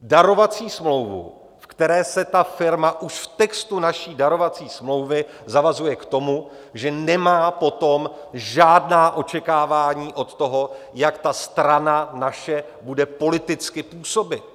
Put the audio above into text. darovací smlouvu, ve které se ta firma už v textu naší darovací smlouvy zavazuje k tomu, že nemá potom žádná očekávání od toho, jak ta strana naše bude politicky působit.